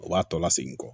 O b'a tɔ lasegin kɔ